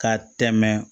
Ka tɛmɛ